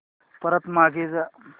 परत मागे जा